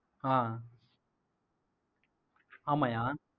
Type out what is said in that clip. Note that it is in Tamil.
ஆஹ் ஆமாய்யா